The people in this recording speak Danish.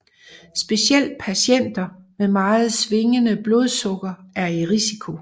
Specielt patienter med meget svingende blodsukker er i risiko